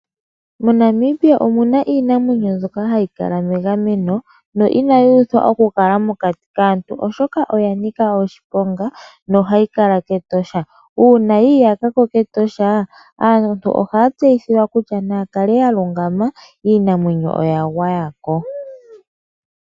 MoNamibia omuna iinamwenyo mbyoka hayi kala megameno, inayi uthwa mokati kaantu oshoka oya nika oshiponga nohayi kala kEtosha National Park, uuna yiiyakako aantu ohaya tseyithilwa kutya naya kale yalungama , iinamwenyo oya gwayako.